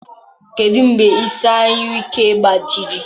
Kedu mgbe isi anyụike gbajiri?